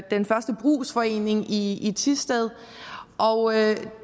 den første brugsforening i thisted